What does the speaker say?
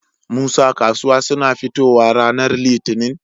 Musa kasuwa suna fitowa ranar litinin?